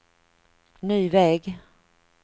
ny väg